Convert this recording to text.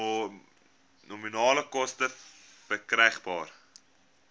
nominale koste verkrygbaar